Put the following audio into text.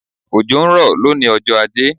Òjò ń rọ̀ lónìí ọjọ́ ajé